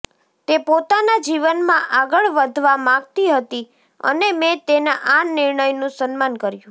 તે પોતાના જીવનમાં આગળ વધવા માંગતી હતી અને મેં તેના આ નિર્ણયનું સન્માન કર્યું